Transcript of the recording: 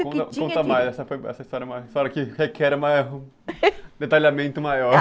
Conta mais, essa foi uma história que requer um detalhamento maior